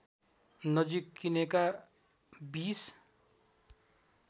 नजिक किनेका २०